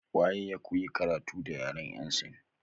Waye ya koyi karatu da yaren yan sin